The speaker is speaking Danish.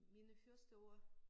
Mine første år